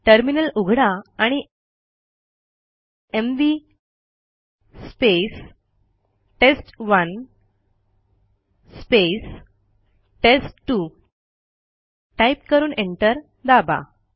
terminal उघडा आणि mv test one test two type करून एंटर दाबा